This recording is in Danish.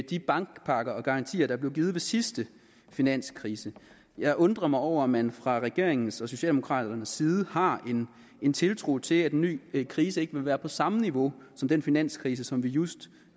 de bankpakker og garantier der blev givet ved sidste finanskrise jeg undrer mig over at man fra regeringens og socialdemokraternes side har en tiltro til at en ny krise ikke vil være på samme niveau som den finanskrise som vi just